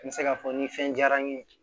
N bɛ se k'a fɔ ni fɛn diyara n ye